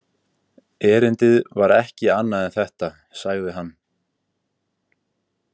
Erindið var ekki annað en þetta, sagði hann.